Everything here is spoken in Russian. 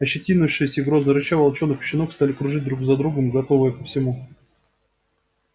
ощетинившись и грозно рыча волчонок и щенок стали кружить друг за другом готовьте ко всему